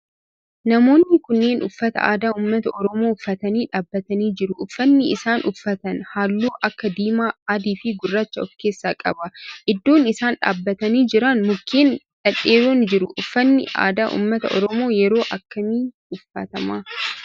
Namoonni kunneen uffata aadaa ummata oromoo uffatanii dhaabbatanii jiru. Uffanni isaan uffatan halluu akka diimaa, adii fi gurraacha of keessaa qaba. Iddoon isaan dhaabbatanii jiran mukkeen dhedheeeron jiru. Uffanni aadaa ummata oromoo yeroo akkamii uffatama?